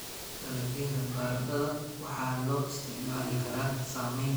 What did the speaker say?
Dalagyada baradhada waxaa loo isticmaali karaa sameynta baradhada la dubay.